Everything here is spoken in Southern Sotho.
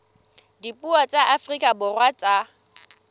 dipuo tsa afrika borwa tsa